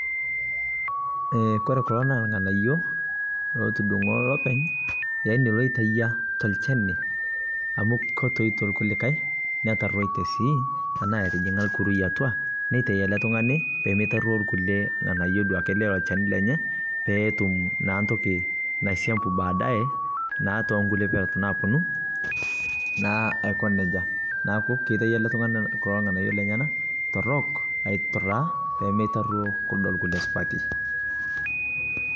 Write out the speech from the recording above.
kore kuloo naa lnganayoo lotudungoo lopeny, loitayaa te lkeniii amu kotoitoo netaroitee sii tanaa etijingaa lkurui atua neitai pemeitaruo lkulie peetum ntokiii naisiampuu tempero naponuu.